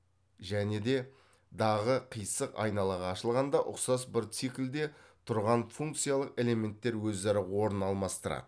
және де дағы қыйсық айнала ашылғанда ұқсас бір циклде түрған функциялық элементтер өзара орын алмастырады